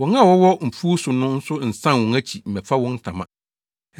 Wɔn a wɔwɔ mfuw so no nso nnsan wɔn akyi mmɛfa wɔn ntama.